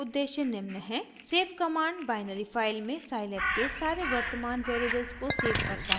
save command binary file में scilab के सारे वर्तमान वेरिएबल्स को सेव करता है